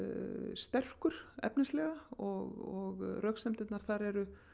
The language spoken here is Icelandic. sterkur efnislega og röksemdirnar þær eru